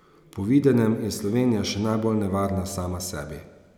Po videnem je Slovenija še najbolj nevarna sama sebi.